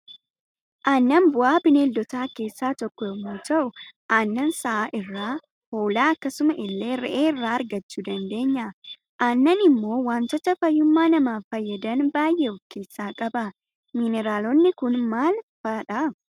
Annan bu'aa bineeldota keessaa tokko yommu ta'uu aannan sa'aa irraa, hoolaa akkasumas ille re'ee irraa argachuu dandeenya. Aannan immoo waantota fayyuma namaaf fayyadan baay'ee of kessaa qaba. Mineraalonni Kun maal maal faadha?